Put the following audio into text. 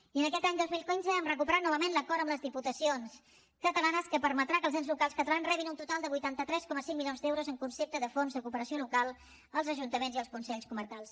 i en aquest any dos mil quinze hem recuperat novament l’acord amb les diputacions catalanes que permetrà que els ens locals catalans rebin un total de vuitanta tres coma cinc milions d’euros en concepte de fons de cooperació local els ajuntaments i els consells comarcals